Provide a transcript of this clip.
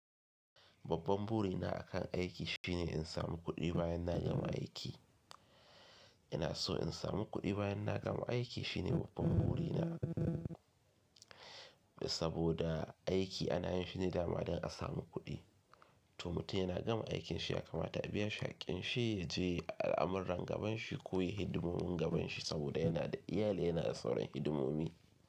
Babban buri na akan aiki shine in samu kuɗi bayan na gama aiki. Ina so in samu kuɗi bayan na gama aiki shine babban buri na saboda aiki ana yin shi ne dama don a samu kuɗi. To mutum yana gama aikin shi ya kama ta biya shi hakkin shi, ya je yayi al'amuran gaban shi ko yayi hidimomin gaban shi saboda yana da iyali yana da sauran hidimomi.